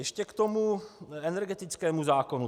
Ještě k tomu energetickému zákonu.